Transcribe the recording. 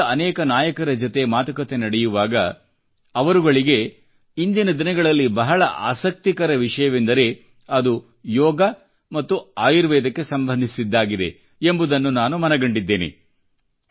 ವಿಶ್ವದ ಅನೇಕ ನಾಯಕರ ಮಾತುಕತೆ ನಡೆಯುವಾಗ ಅವರುಗಳಿಗೆ ಇಂದಿನ ದಿನಗಳಲ್ಲಿ ಬಹಳ ಆಸಕ್ತಿಕರ ವಿಷಯವೆಂದರೆ ಅದು ಯೋಗ ಮತ್ತು ಆಯುರ್ವೇದಕ್ಕೆ ಸಂಬಂಧಿಸಿದ್ದಾಗಿದೆ ಎಂಬುದನ್ನು ನಾನು ಮನಗಂಡಿದ್ದೇನೆ